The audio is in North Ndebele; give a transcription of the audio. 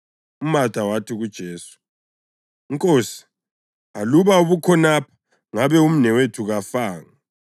UMatha wathi kuJesu, “Nkosi, aluba ubukhonapha ngabe umnewethu kafanga.